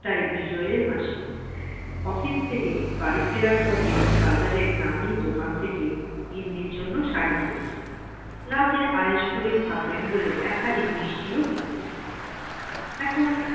তাই বিজয়ের হাসি office থেকে বাড়ি ফেরার পথে বাজারের নামই দোকান থেকে গিন্নির জন্য শাড়ি কিনেছেন ।রাতে আয়েশ করে খাবেন বলে এক হাঁড়ি মিষ্টি ও কিনেছেন। এখন